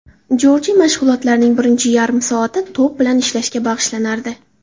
Jorji mashg‘ulotlarining birinchi yarim soati to‘p bilan ishlashga bag‘ishlanardi.